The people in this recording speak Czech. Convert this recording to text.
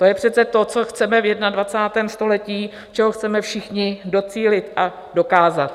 To je přece to, co chceme v 21. století, čeho chceme všichni docílit a dokázat.